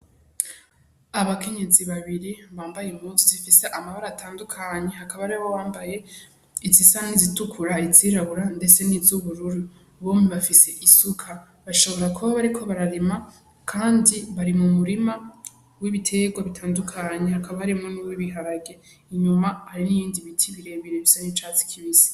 Abakenyezi babiri bambaye impunzu zifise amabara atandukanye hakaba hariho uwambaye izisa nizitukura, izirabura, ndetse n'izubururu bompi bafise isuka bashobora kuba bariko bararima Kandi bari mumurima w'ibiterwa bitandukanye hakaba harimwo nuwibiharage inyuma hariho ibindi biti birebire bisa n'icatsi kibisi.